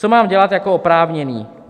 Co mám dělat jako oprávněný?